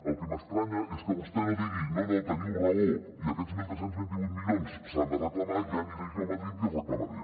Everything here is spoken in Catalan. el que m’estranya és que vostè no digui no no teniu raó i aquests tretze vint vuit milions s’han de reclamar ja aniré jo a madrid i els reclamaré